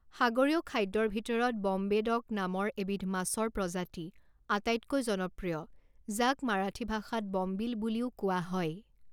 সাগৰীয় খাদ্যৰ ভিতৰত ব'ম্বে ডক নামৰ এবিধ মাছৰ প্ৰজাতি আটাইতকৈ জনপ্ৰিয়, যাক মাৰাঠী ভাষাত বম্বিল বুলিও কোৱা হয়।